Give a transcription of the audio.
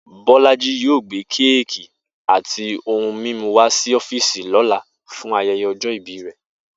Bó̩lájí yóò gbé kéèkì àti ohun mímú wá sí ó̩fíìsì ló̩la fún aye̩ye̩ o̩jó̩ ìbí rè̩